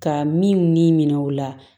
Ka min ni minɛw la